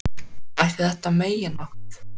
Ætli þetta megi nokkuð?